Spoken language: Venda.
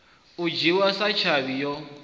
u dzhiwa sa tshavhi yo